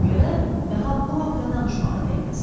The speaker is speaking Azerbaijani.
Ona görə daha bu haqda danışmağa dəyməz.